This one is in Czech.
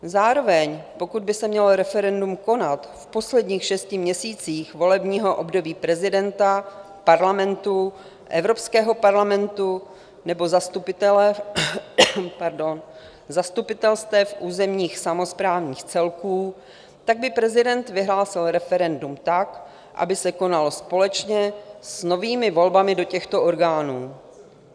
Zároveň pokud by se mělo referendum konat v posledních šesti měsících volebního období prezidenta, Parlamentu, Evropského parlamentu nebo zastupitelstev územních samosprávních celků, tak by prezident vyhlásil referendum tak, aby se konalo společně s novými volbami do těchto orgánů.